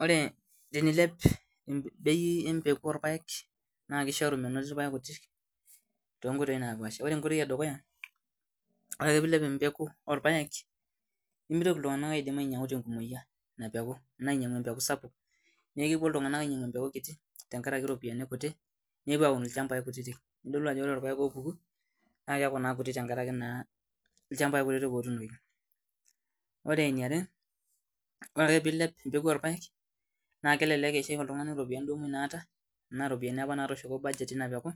Ore tenilep bei empeku orpaek naa kishoru metoni irpaek kutik ntoonkoitoi napaasha. Ore enkoitoi edukuya ,ore pee eilep bei empegu orpaek ,nemitoki iltunganak kumok atumoki ainyangu ina peku enaa empeku sapuk. Neeku kepuo ltunganak ainyangu empeku kiti tenkaraki ropiyiani kutik nepuo aun ilchampai kutitik. nidol ajo keeku ore irpaek oopuku ,naa keeku kuti tenkaraki naa irpaek kutik otuunoki. Ore eniare ore ake pee eilep empeku orpaek, naa kelelek eishu iltunganak ropitiani apa naata ,tenaa budget apa natooshoko ina peku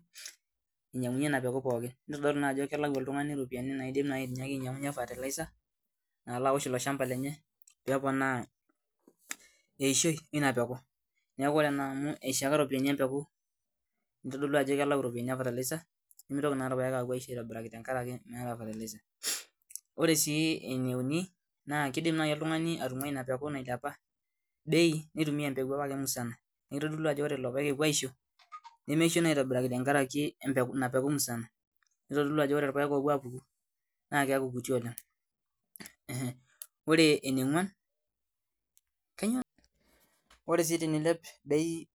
ninyangunyie pookin. Nidol naa ajo keleu oltungani ropiyiani naitoki naaji ainyangunyie fertilizer nalo aosh ilo shampa lenye pee eponaa eishoi ina peku. Neeku ore naa amu eishaka ropiyiani empeku, kitodolu ajo kelau ropiyiani fertilizer nimitoki naa irpaek apuo aisho aitobiraki tenkaraki meeta fertilizer. Ore sii ene uni, keidim naaji oltungani atunguai ina peku apa nailepa bei, nitumiya empeku apake musana .Neeku kitodolu ajo ore lelo paek apuo aisho, nemeisho naa aitobiraki tenkaraki ina peku musana .Nitodolu ajo ore irpaek opuo apuku, naaa keeku kuti oleng. Ore eniongwan, ore sii tenilep bei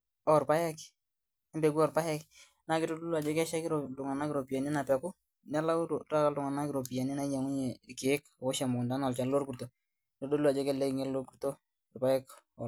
empe orpaek, naa kitodolu ajo keishaki iltunganak ropiyiani ina peku, nalau taata iltunganak ropiyiani nainyangunyie irkeek oosh emukunta enaa olchani lorkurto.